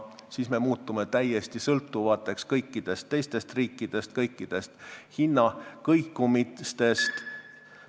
Siis me muutume täiesti sõltuvateks teistest riikidest ja kõikidest hinnakõikumistest.